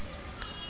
girls let us